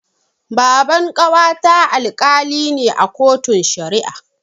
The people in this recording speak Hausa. Baban ƙawata Alkali ne a kotun Shari'a.